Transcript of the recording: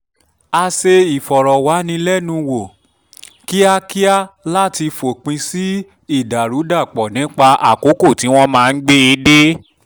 a ṣe ìfọ̀rọ̀wánilẹ́nuwò kíákíá láti fòpin sí ìdàrúdàpọ̀ nípa àkókò tí wọ́n máa gbé e dé